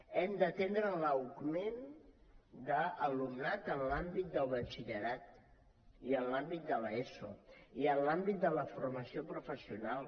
hem d’atendre l’augment de l’alumnat en l’àmbit del batxillerat i en l’àmbit de l’eso i en l’àmbit de la formació professional